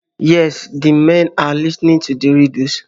Yes, the men are listening to the riddles